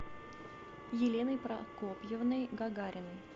еленой прокопьевной гагариной